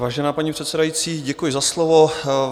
Vážená paní předsedající, děkuji za slovo.